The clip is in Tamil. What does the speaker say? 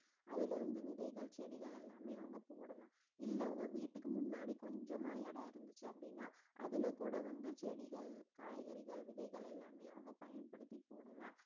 அதுல இருந்து விதைகள் செடிகள் எல்லாமே அவுங்க போடலாம் இல்ல வீட்டுக்கு முன்னாடி கொஞ்சமா இடம் இருந்துச்சு அப்படின்னா அதுல கூட வந்து செடிகள் காய்கறிகள் விதைகள் எல்லாமே அவங்க பயன்படுத்தி போடலாம்